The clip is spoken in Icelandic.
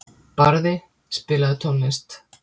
Barði, spilaðu tónlist.